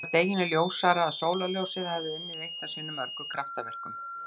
Hitt var deginum ljósara að sólarljósið hafði unnið eitt af sínum mörgu kraftaverkum.